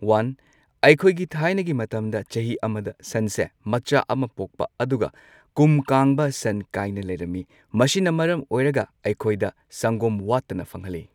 One ꯑꯩꯈꯣꯏꯒꯤ ꯊꯥꯏꯅꯒꯤ ꯃꯇꯝꯗ ꯆꯍꯤ ꯑꯃꯗ ꯁꯟꯁꯦ ꯃꯆꯥ ꯑꯃ ꯄꯣꯛꯄ ꯑꯗꯨꯒ ꯀꯨꯝ ꯀꯥꯡꯕ ꯁꯟ ꯀꯥꯏꯅ ꯂꯩꯔꯝꯃꯤ꯫ ꯃꯁꯤꯅ ꯃꯔꯝ ꯑꯣꯏꯔꯒ ꯑꯩꯈꯣꯏꯗ ꯁꯪꯒꯣꯝ ꯋꯥꯠꯇꯅ ꯐꯪꯍꯜꯂꯤ꯫